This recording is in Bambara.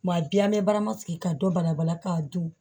Wa bi an bɛ barama sigi ka dɔ bala bala k'a dun